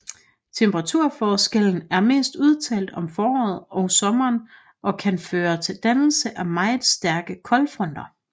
Temperaturforskellen er mest udtalt om foråret og sommeren og kan føre til dannelsen af meget stærke koldfronter